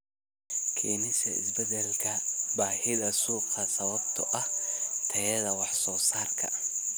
Keenista isbeddelka baahida suuqa sababtoo ah tayada wax soo saarka.